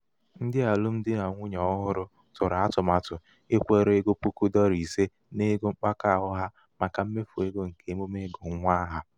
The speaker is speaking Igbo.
ndị alụmdi n nwunye n nwunye ọhụrụ tụrụ atụmatụ ikwere egoppuku dọla ise n'ego mkpakọ akụ ha màkà mmefu ego nke emume ịgụ nwa aha.